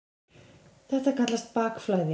Þetta kallast bakflæði.